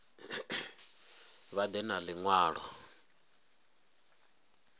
vha ḓe na ḽi ṅwalo